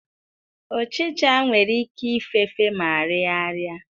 Uchicha nwere ike ịfefe ma riaaraị.